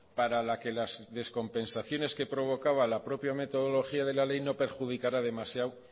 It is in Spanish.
para la que las descompensaciones que provocaba la propia metodología de la ley no perjudicara demasiado